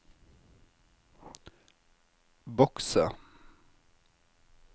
bokse